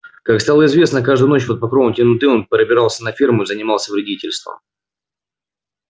как стало известно каждую ночь под покровом темноты он пробирался на ферму и занимался вредительством